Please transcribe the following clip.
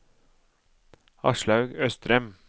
Aslaug Østrem